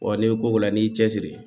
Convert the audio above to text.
Wa n'i ko k'o la n'i y'i cɛsiri